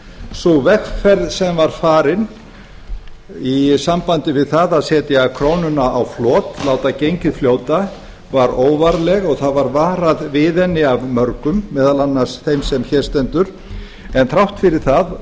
sú vegferð sem var farin í sambandi við það að setja krónuna á flot láta gengið fljóta var óvarleg og það var varað við hana af mörgum meðal annars þeim sem hér stendur en þrátt fyrir það